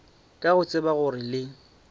ka go tseba gore le